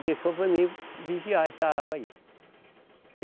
E deixou para mim vigiar essa água aí.